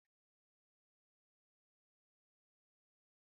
Mafarauta daga Okpara aji suna shiga cikin daji, iyawarsu ta kare al'umma.